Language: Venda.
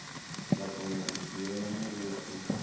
vha kona u dzhiela muvhuso